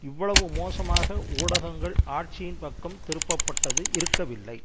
இவ்வளவு மோசமாக ஊடகங்கள் ஆட்சியின் பக்கம் திருப்ப பட்டது இருக்கவில்லை